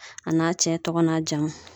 A na cɛ tɔgɔ n'a jamu.